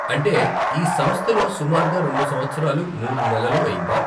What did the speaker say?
అంటే, ఈ సంస్థలో సుమారుగా రెండు సంవత్సరాలు, మూడు నెలలు అయిందా?